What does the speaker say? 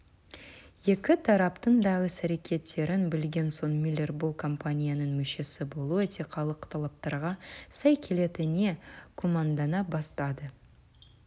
екі тараптың да іс-әрекеттерін білген соң миллер бұл кампанияның мүшесі болу этикалық талаптарға сай келетініне күмәндана бастады